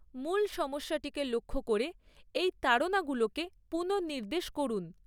মূল সমস্যাটিকে লক্ষ্য করে এই তাড়নাগুলোকে পুনঃনির্দেশ করুন।